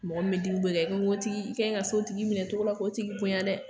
Mɔgɔ min bɛ dimi bɔ i kan i kan k'o tigi, i ka ɲi ka s'o tigi minɛ cogo la k'o tigi bonya dɛ.